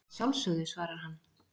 Að sjálfsögðu, svarar hann.